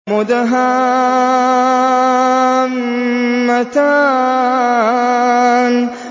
مُدْهَامَّتَانِ